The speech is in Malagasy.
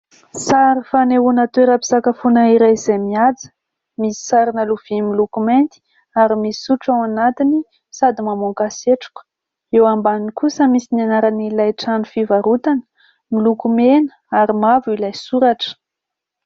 Sary fanehoana toeram-pisakafoana iray izay mihaja : misy sarina lovia miloko mainty ary misy sotro ao anatiny sady mamoaka setroka, eo ambany kosa misy ny anaran'ilay trano fivarotana miloko mena ary mavo ilay soratra.